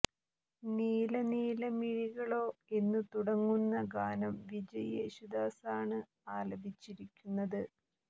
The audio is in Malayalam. നീല നീല മിഴികളോ എന്നു തുടങ്ങുന്ന ഗാനം വിജയ് യേശുദാസാണ് ആലപിച്ചിരിക്കുന്നത്